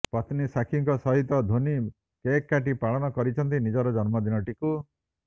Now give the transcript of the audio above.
ପତ୍ନୀ ସାକ୍ଷୀଙ୍କ ସହିତ ଧୋନୀ କେକ୍ କାଟି ପାଳନ କରିଛନ୍ତି ନିଜର ଜନ୍ମଦିନଟିକୁ